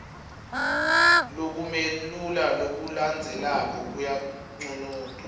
lokumelula lokulandzelako kuyanconotwa